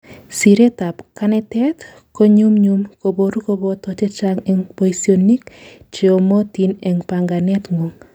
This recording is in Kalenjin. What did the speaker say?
siret ab kanetet konyumnyum koboru koboto chechang en boisionik cheyomotin en panganet ngung